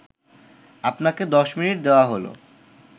আপনাকে ১০ মিনিট দেওয়া হলো